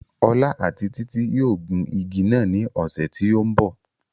Ọlá àti títí yóò gun igi náà ní ọ̀sẹ̀ tí ó ń bọ̀